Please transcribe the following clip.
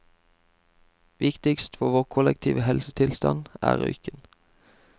Viktigst for vår kollektive helsetilstand er røyken.